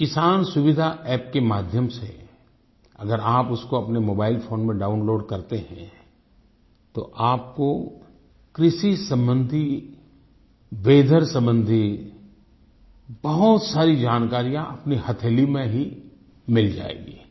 ये किसान सुविधा अप्प के माध्यम से अगर आप उसको अपने मोबाइलफोन में डाउनलोड करते हैं तो आपको कृषि सम्बन्धी वीथर सम्बन्धी बहुत सारी जानकारियाँ अपनी हथेली में ही मिल जाएगी